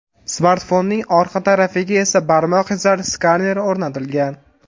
Smartfonning orqa tarafiga esa barmoq izlari skaneri o‘rnatilgan.